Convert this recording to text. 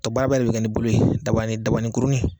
Tɔ baaraba de bɛ kɛ ni bolo in ye dabani dabanikurunin.